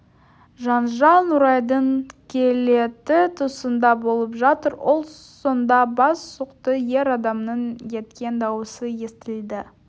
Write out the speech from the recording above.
жанжал нұрайдың кілеті тұсында болып жатыр ол сонда бас сұқты ер адамның еткен даусы естілді